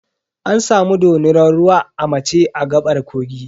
An samu dorinar ruwa a mace a gaɓar kogi.